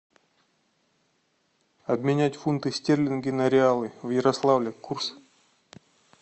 обменять фунты стерлинги на реалы в ярославле курс